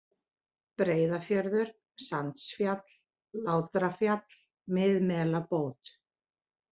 Breiðafjörður, Sandsfjall, Látrafjall, Miðmelabót